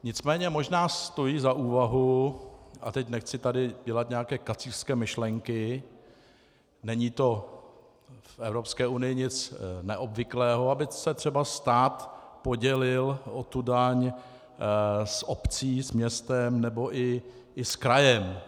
Nicméně možná stojí za úvahu, a teď nechci tady dělat nějaké kacířské myšlenky, není to v Evropské unii nic neobvyklého, aby se třeba stát podělil o tu daň s obcí, s městem nebo i s krajem.